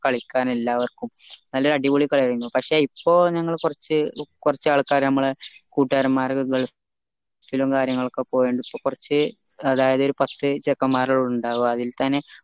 കളിക്കാൻ എല്ലാവര്ക്കും നല്ല അടിപൊളി കളിയായിരുന്നു പക്ഷെ ഇപ്പൊ ഞങ്ങൾ കോർച്ച് കോർച്ച് ആൾക്കാര് നമ്മളാ കൊട്ടുകാരന്മാരൊക്കെ ഗൾഫിലും കാര്യങ്ങൾ ഒക്കെ പോയൊണ്ട് ഇപ്പൊ കോർച്ച് അതായത് ഒരു പത്ത് ചെക്കന്മാരായുണ്ടാവാ അതിൽ തന്നെ